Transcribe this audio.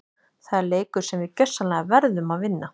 Það er leikur sem við gjörsamlega verðum að vinna!